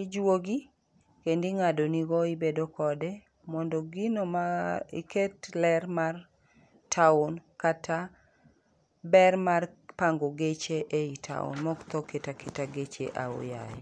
Ijuogi kendo ing'adonigo ibedo kode. Mondo gino ma iket ler mar tawn kata ber mar pango geche eyi tawn mok tho keta keta geche ahoyaye.